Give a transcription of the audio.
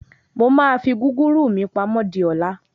Mo máa fi gúgúrú mí pamọ́ di ọ̀la.